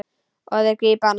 Og þeir grípa hana.